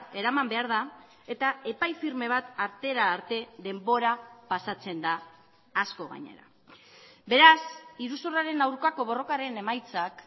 eraman behar da eta epai firme bat artera arte denbora pasatzen da asko gainera beraz iruzurraren aurkako borrokaren emaitzak